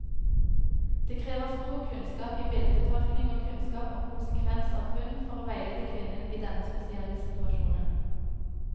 Det krever stor kunnskap i bildetolkning og kunnskap om konsekvens av funn, for å veilede kvinnen i denne spesielle situasjonen.